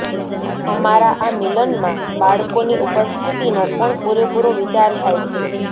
અમારા આ મિલનમાં બાળકોની ઉપસ્થિતિનો પણ પૂરેપૂરો વિચાર થાય છે